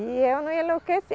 E eu não enlouqueci.